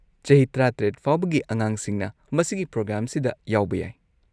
ꯆꯍꯤ ꯱꯷ ꯐꯥꯎꯕꯒꯤ ꯑꯉꯥꯡꯁꯤꯡꯅ ꯃꯁꯤꯒꯤ ꯄ꯭ꯔꯣꯒ꯭ꯔꯥꯝꯁꯤꯗ ꯌꯥꯎꯕ ꯌꯥꯏ꯫